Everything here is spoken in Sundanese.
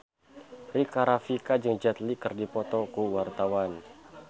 Rika Rafika jeung Jet Li keur dipoto ku wartawan